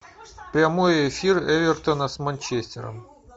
прямой эфир эвертона с манчестером